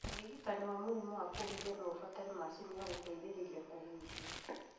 ũrigitani wa mũrimũ wa kũhihia noũbatare macini ya gũteithĩrĩrie kũhihia